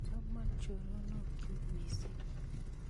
chamo choronokyu mising